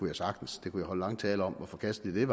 jeg sagtens jeg kunne holde lange taler om hvor forkasteligt